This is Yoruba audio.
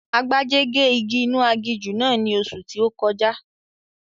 Agbájé gé igi inú aginjù náà ní oṣù tí ó kọjá